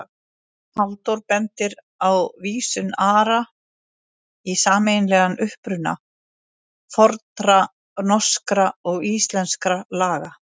Halldór bendir á vísun Ara í sameiginlegan uppruna fornra norskra og íslenskra laga.